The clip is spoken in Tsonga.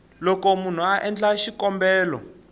loko munhu a endla xikombelo